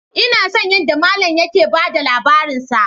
Ina son yadda mallam yake ba da labarinsa